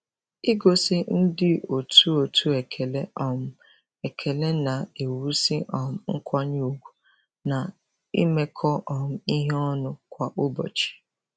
Igosi ndị otu otu ekele um ekele na-ewusi um nkwanye ugwu na imekọ um ihe ọnụ kwa ụbọchị.